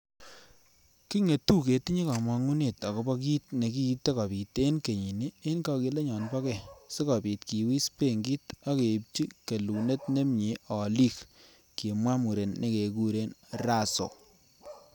"Kingetu ketinye komong'unet agobo kit nekiite kobiit en kenyini en kogilenyon bo go sikobiit kiwis benkit ak keibchi kelunot nemie oliik,"Kimwa muren nekekuren Russo.